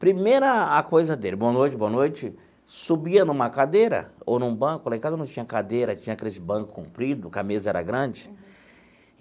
Primeiro a coisa dele, boa noite, boa noite, subia numa cadeira ou num banco, lá em casa não tinha cadeira, tinha aqueles banco comprido, porque a mesa era grande.